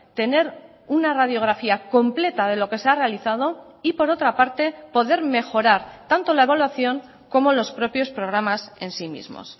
tener una radiografía completa de lo que se ha realizado y por otra parte poder mejorar tanto la evaluación como los propios programas en sí mismos